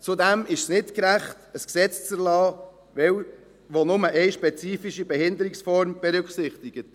Zudem ist es nicht gerecht, ein Gesetz zu erlassen, welches nur eine spezifische Behinderungsform berücksichtigt.